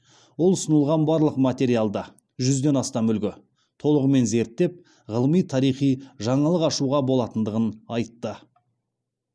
ол ұсынылған барлық материалды жүзден астам үлгі толығымен зерттеп ғылыми тарихи жаңалық ашуға болатындығын айтты